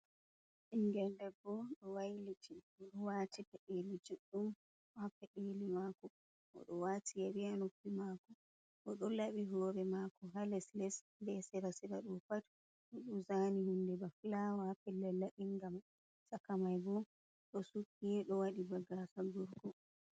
Ɓingel debbo do wailiti oɗo wati peɗeli juɗɗum o ha pedeli mako, oɗo wati yari ha noppi mako oɗo laɓi hore mako ha les les be sera sera bo pat oɗo zani hunde ba flawa ha pedeli ɗin, ngam saka mai bo to sukkido wadi baga saburko.